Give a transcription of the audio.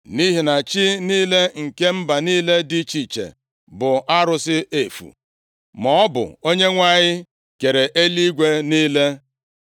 Nʼihi na chi niile nke mba niile dị iche iche bụ arụsị efu, maọbụ Onyenwe anyị kere eluigwe niile.